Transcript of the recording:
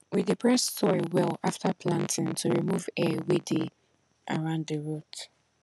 we dey press soil well after planting to remove air wey dey round the root